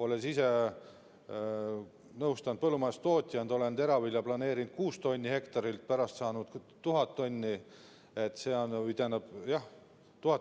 Olen ise olnud põllumajandustootja ja vahel planeerinud teravilja 6 tonni hektarilt, aga pärast saanud 1000